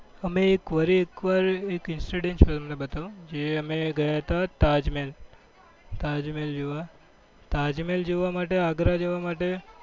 અમે ફરી એકવાર વારી એકવાર જે અમે ગયા હતા તાઝ્મહેલ તાઝ્મહેલ જોવા તાઝ્માંહેલ જોવા માટે આગ્રા જવા માટે